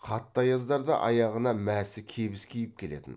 қатты аяздарда аяғына мәсі кебіс киіп келетін